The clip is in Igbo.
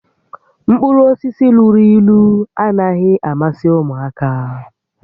Mkpụrụ osisi luru ílú anaghị amasị ụmụaka